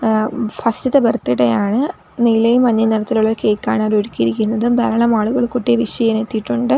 ആഹ് first ത്തെ birthday ആണ് നീലയും മഞ്ഞയും നിറത്തിലുള്ള ഒരു കേക്കാണ് അവർ ഒരുക്കിയിരിക്കുന്നത് ധാരാളം ആളുകൾ കുട്ടിയെ വിഷ് ചെയ്യാൻ എത്തിയിട്ടുണ്ട്.